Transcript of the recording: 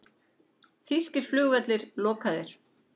Þýskir flugvellir lokaðir